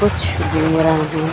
कुछ घूम रहे है--